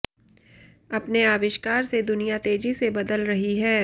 अपने आविष्कार से दुनिया तेजी से बदल रही है